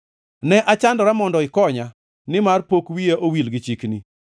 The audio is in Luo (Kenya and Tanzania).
Ne chandruokna mondo ikonya, nimar pok wiya owil gi chikni.